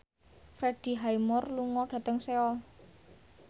Freddie Highmore lunga dhateng Seoul